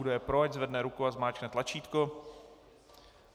Kdo je pro, ať zvedne ruku a zmáčkne tlačítko.